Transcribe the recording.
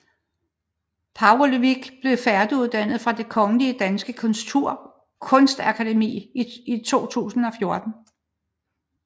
Pavlović blev færdiguddannet fra Det Kongelige Danske Kunstakademi i 2014